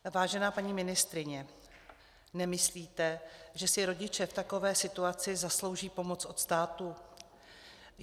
Vážená paní ministryně, nemyslíte, že si rodiče v takové situaci zaslouží pomoc od státu?